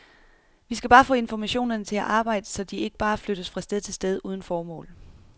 Vi skal få informationerne til at arbejde, så de ikke bare flyttes fra sted til sted uden formål.